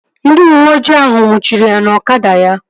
Ndị uweojii ahụ nnwuchiri ya na ọkada ya